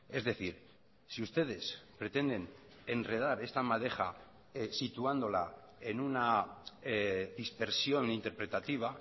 es decir si ustedes pretenden enredar esta madeja situándola en una dispersión interpretativa